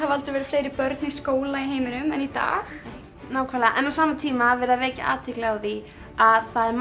aldrei verið fleiri börn í skóla í heiminum en í dag nákvæmlega en á sama tíma er verið að vekja athygli á því að það er